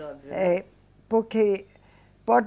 É, porque pode